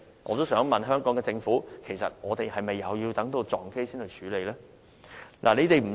我也想問香港政府，其實我們是否也要等到空難發生才去處理呢？